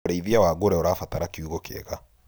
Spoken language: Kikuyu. ũrĩithia wa ngũrũwe ũrabatara kiugũ kĩega.